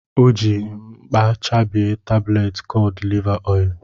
O ji mkpà chabie tabletị kọd liva oil.